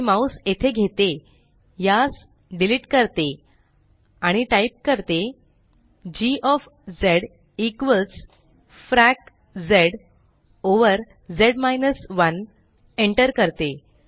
मी mouse येथे घेते यास डीलीट करते आणि G frac zz 1 एंटर करते